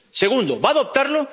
Segundo, ¿va a adoptarlo?